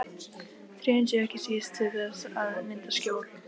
Trén séu ekki síst til þess að mynda skjól.